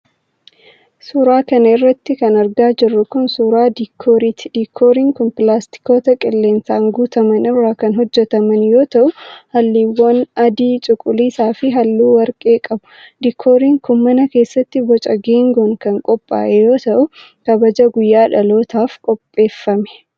Suura kana irratti kan argaa jirru kan, suura diikooriiti. Diikooriin kun, pilaastikoota qilleensaan guutaman irraa kan hojjataman yoo ta'u, haalluuwwan adii, cuquliisa fi haalluu warqee qabu. Diikooriin kun mana keessatti ,boca geengoon kan qophaa'e yoo ta'u, kabaja guyyaa dhalootaaf qopheeffame.